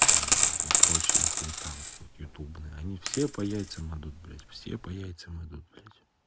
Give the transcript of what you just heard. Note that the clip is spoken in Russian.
и там и прочая хуета вот эта вот ютубная они все по яйцам идут блядь все по яйцам идут блядь